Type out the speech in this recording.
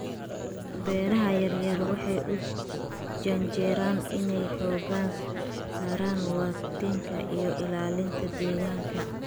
Beeraha-yar-yar waxay u janjeeraan inay xoogga saaraan waaritaanka iyo ilaalinta deegaanka